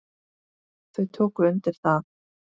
Þau tóku undir það.